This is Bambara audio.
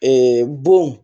bon